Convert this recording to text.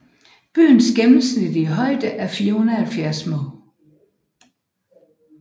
Byens gennemsnitlige højde er 470 moh